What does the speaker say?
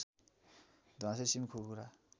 ध्वाँसे सिमकुखुरा